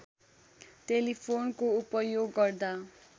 टेलिफोनको उपयोग गर्दा